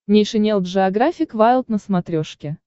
нейшенел джеографик вайлд на смотрешке